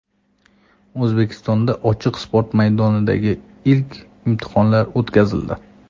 O‘zbekistonda ochiq sport maydonidagi ilk imtihonlar o‘tkazildi.